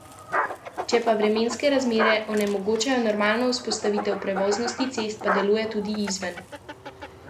Če pa vremenske razmere onemogočajo normalno vzpostavitev prevoznosti cest, pa deluje tudi izven navedenega termina.